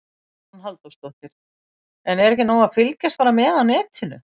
Hugrún Halldórsdóttir: En er ekki nóg að fylgjast bara með á netinu?